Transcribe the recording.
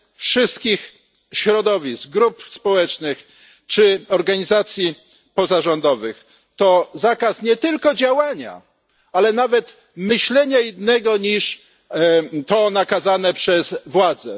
wszystkich środowisk, grup społecznych czy organizacji pozarządowych, to zakaz nie tylko działania, ale nawet myślenia innego niż to nakazane przez władze.